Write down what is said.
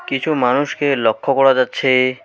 কিছু মানুষকে লক্ষ করা যাচ্ছে।